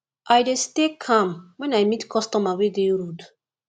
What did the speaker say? i dey stay calm wen i meet customer wey dey rude